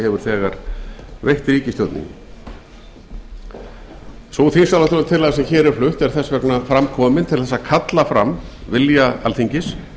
hefur þegar veitt ríkisstjórninni sú þingsályktunartillaga sem hér er flutt er fram komin til þess að kalla fram vilja alþingis